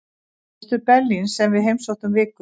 Austur-Berlín sem við heimsóttum vikulega.